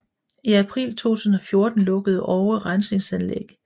I april 2014 lukkede Oue Rensningsanlæg